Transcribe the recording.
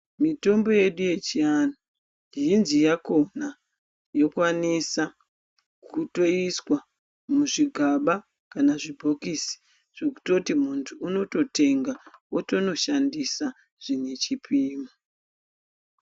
Mitombo yedu yechiantu mizhinji yakona yokwanisa kutoiswa muzvigaba kana muzvibhokisi zvekutoti muntu unototenga otonoshandisa zvine chipimo.